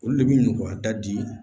Olu le bɛ nɔgɔya da di